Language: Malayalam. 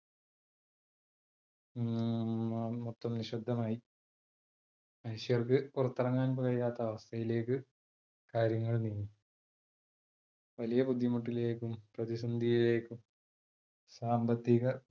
മൊത്തം നിശബ്ദമായി, മനുഷ്യർക്ക് പുറത്തിറങ്ങാൻ കഴിയാത്ത അവസ്ഥയിലേക്ക് കാര്യങ്ങൾ നീങ്ങി വലിയ ബുദ്ധിമുട്ടിലേക്കും പ്രതിസന്ധിയിലേക്കും സാമ്പത്തിക